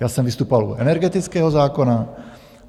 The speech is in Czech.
Já jsem vystupoval u energetického zákona.